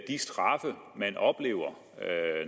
straffe man oplever